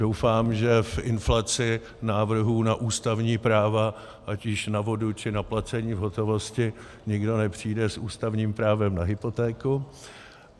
Doufám, že v inflaci návrhů na ústavní práva ať již na vodu, či na placení v hotovosti nikdo nepřijde s ústavním právem na hypotéku.